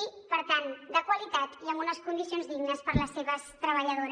i per tant de qualitat i amb unes condicions dignes per a les seves treballadores